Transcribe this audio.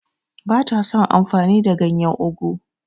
Ba ta son amfani da ganyen ugwu.